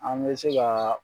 An bɛ se kaa